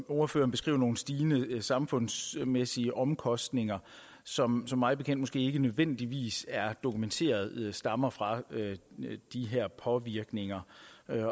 ordfører beskriver nogle stigende samfundsmæssige omkostninger som mig bekendt måske ikke nødvendigvis er dokumenteret stammer fra de her påvirkninger